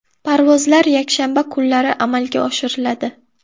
Parvozlar yakshanba kunlari amalga oshiriladi.